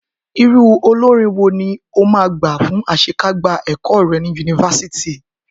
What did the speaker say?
Irú olórin wo ni o máa gbà fún àṣekágbá ẹ̀kọ́ rẹ̀ ni yunifásítì?